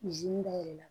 dayɛlɛ